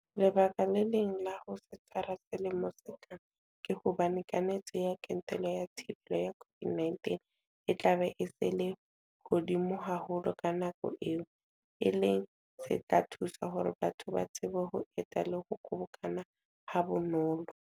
Lebaka le leng la ho se tshwara selemong se tlang ke hobane kanetso ya kentelo ya thibelo ya COVID-19 e tlabe e se e le hodimo haholo ka nako eo, e leng se tla thusa hore batho ba tsebe ho eta le ho kgobokana habonolo.